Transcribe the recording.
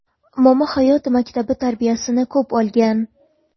Momo hayot maktabi tarbiyasini ko‘p olgan.